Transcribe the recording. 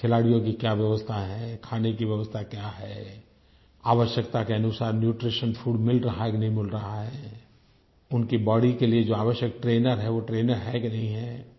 खिलाड़ियों की क्या व्यवस्था है खाने की व्यवस्था क्या है आवश्यकता के अनुसार न्यूट्रीशन फूड मिल रहा है कि नहीं मिल रहा है उनकी बॉडी के लिए जो आवश्यक ट्रेनर हैं वो ट्रेनर हैं कि नहीं हैं